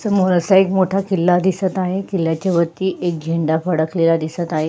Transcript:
समोर असा एक मोठा किल्ला दिसत आहे किल्ल्याच्या वरती एक झेंडा फडकलेला दिसत आहे.